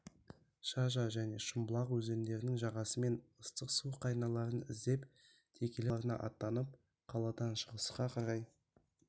шажа және шымбұлақ өзендерінің жағасымен ыстық су қайнарларын іздеп текелі тауларына аттанып қаладан шығысқа қарай